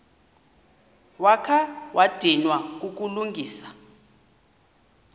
wakha wadinwa kukulungisa